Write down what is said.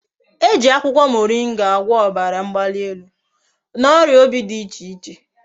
E ji akwukwo moringa agwo obara mgbalielu na oria obi di iche iche